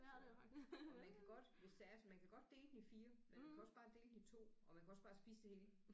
Så og man kan godt hvis det er sådan man kan godt dele den i 4 men man kan også bare dele den i 2 og man kan også bare spise det hele